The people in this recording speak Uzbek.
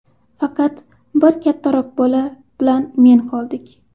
Faqat bir kattaroq bola bilan men qoldik.